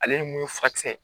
Ale ni mun ye furakisɛ ye